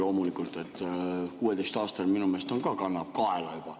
Loomulikult, 16‑aastane minu meelest ka kannab kaela juba.